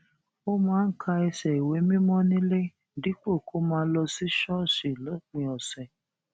ó máa ń ka ẹsẹ ìwé mímó nílé dípò kó máa lọ sí ṣóòṣì lópin òsè